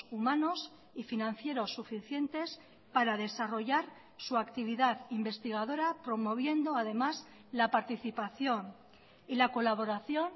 humanos y financieros suficientes para desarrollar su actividad investigadora promoviendo además la participación y la colaboración